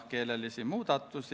Tänan!